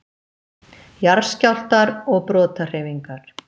Jarðskjálftar og brotahreyfingar